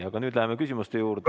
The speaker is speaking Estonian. Aga nüüd läheme küsimuste juurde.